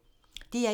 DR1